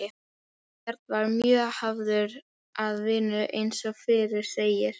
Björn var mjög hafður að vinnu eins og fyrr segir.